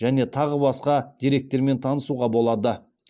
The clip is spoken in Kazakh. және тағы басқа деректермен танысуға болады